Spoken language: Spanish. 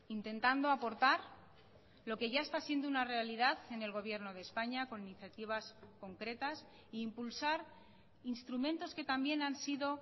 intentando aportar lo que ya está siendo una realidad en el gobierno de españa con iniciativas concretas e impulsar instrumentos que también han sido